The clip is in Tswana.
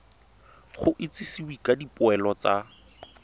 go itsisiwe ka dipoelo tsa